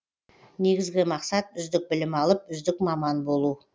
негізгі мақсат үздік білім алып үздік маман болу